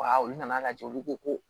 Wa olu nana lajɛ olu ko ko